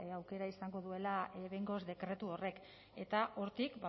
aukera izango duela behingoz dekretu horrek eta hortik